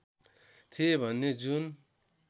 थिए भने जुन